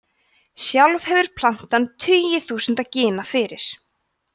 sjálf hefur plantan tugi þúsunda gena fyrir